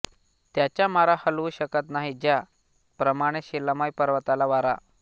त्याचा मारा हलवू शकत नाही ज्या प्रमाणे शिलामय पर्वताला वारा